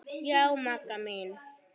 Já, Magga mín.